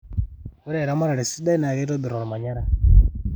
oe eramatare sidai naa keitobirr olmanyara